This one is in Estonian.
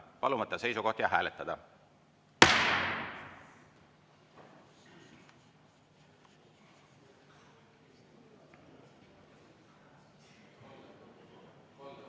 Palun võtta seisukoht ja hääletada!